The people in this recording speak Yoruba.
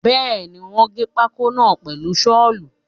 Bẹ́ẹ̀ni, wọ́n gé pákó náà pẹ̀lú Ṣọ́ọ̀lù.